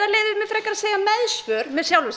leyfi mér frekar að segja meðsvör með sjálfum